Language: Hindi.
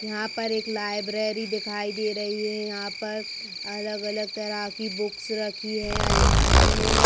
यहां पर एक लाइब्रेरी दिखाई दे रही है। यहां पर अलग-अलग तरह की बुक्स रखी हैं अलमारी में।